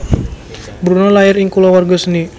Bruno lair ing kulawarga seni